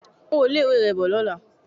Mú owó ilé-ìwé rẹ bọ̀ ní ọ̀la